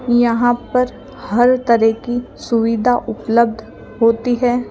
यहां पर हर तरह की सुविधा उपलब्ध होती है।